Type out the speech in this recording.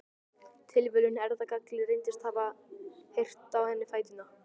Tilviljun, erfðagalli, reyndist hafa reyrt á henni fæturna.